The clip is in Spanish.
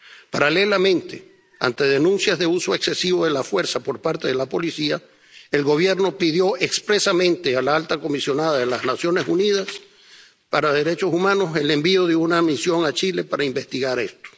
Paralelamente, ante denuncias de uso excesivo de la fuerza por parte de la policía, el Gobierno pidió expresamente a la alta comisionada de las Naciones Unidas para los Derechos Humanos el envío de una misión a Chile para investigar esto.